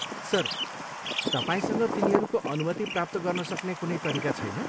Sir, तपाईँसँग तिनीहरूको अनुमति प्राप्त गर्न सक्ने कुनै तरिका छैन?